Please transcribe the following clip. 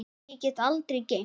Því get ég aldrei gleymt.